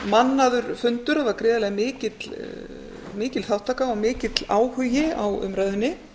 mannaður fundur það var gríðarlega mikil þátttaka og mikill áhugi á umræðunni